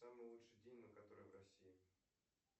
самый лучший день ну который в россии